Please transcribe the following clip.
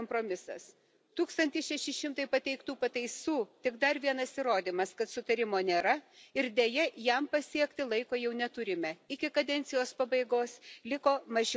Tūkstantis šeši šimtai pateiktų pataisų tik dar vienas įrodymas, kad sutarimo nėra ir, deja, jam pasiekti laiko jau neturime iki kadencijos pabaigos liko mažiau nei mėnuo.